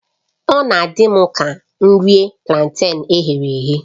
Ọ na-adị m ka iri planten e ghere eghe